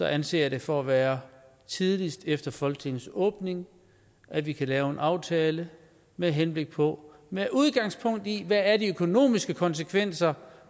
anser det for at være tidligst efter folketingets åbning at vi kan lave en aftale med henblik på med udgangspunkt i hvad de økonomiske konsekvenser